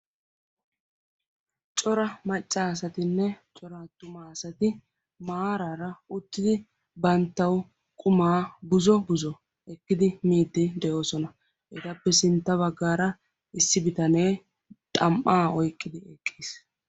cora macca asatinne cora attuma asati uttidi banttawu quma buzzo buzzo ekkidi miide doosona. etappe sintta baggra issi bitanee xam''a pyqqidi eqqiis.